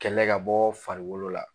Kɛlɛ ka bɔ farikolo la.